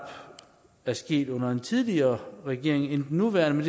er sket under en tidligere regering end den nuværende